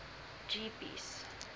jeepies